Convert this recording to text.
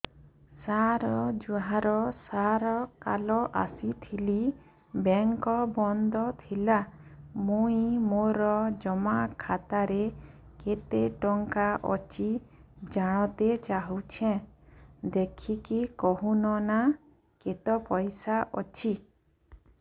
ସାର ଜୁହାର ସାର କାଲ ଆସିଥିନି ବେଙ୍କ ବନ୍ଦ ଥିଲା ମୁଇଁ ମୋର ଜମା ଖାତାରେ କେତେ ଟଙ୍କା ଅଛି ଜାଣତେ ଚାହୁଁଛେ ଦେଖିକି କହୁନ ନା କେତ ପଇସା ଅଛି